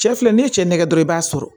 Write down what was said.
Cɛ filɛ ni ye cɛ nɛgɛjɔrɔ i b'a sɔrɔ